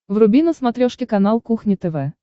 вруби на смотрешке канал кухня тв